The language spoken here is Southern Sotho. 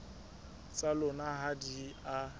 tsa lona ha di a